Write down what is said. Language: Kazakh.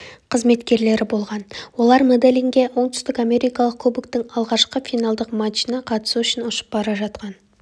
қызметкерлері болған олар медельинге оңтүстік америкалық кубоктың алғашқы финалдық матчына қатысу үшін ұшып бара жатқан